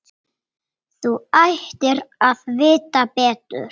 Þú ættir að vita betur!